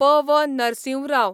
P. V.. Narasimha Rao